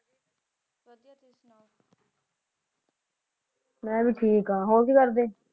ਮੈਂ ਵੀ ਠੀਕ ਹਾਂ ਹੋਰ ਕੀ ਕਰਦੇ?